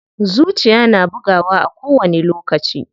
Zuciya na bugawa a kowani lokaci.